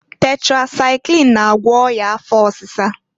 Tetresaịklin na-agwọ ọya afọ ọsịsa.